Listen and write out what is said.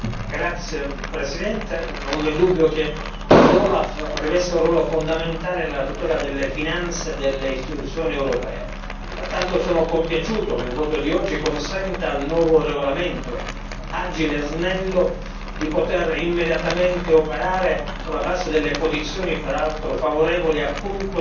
Signor Presidente, onorevoli colleghi, non vi è dubbio che l'OLAF riveste un ruolo fondamentale nella tutela delle finanze delle istituzioni europee e pertanto sono compiaciuto che il voto di oggi consenta al nuovo regolamento agile e snello di poter immediatamente operare sulla base delle posizioni peraltro favorevoli